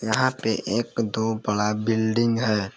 यहां पे एक दो बड़ा बिल्डिंग है।